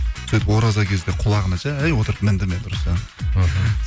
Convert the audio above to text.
сөйтіп ораза кезде құлағына жай отырып міндім мен іхі